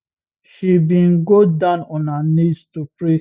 she bin go down on her knees to pray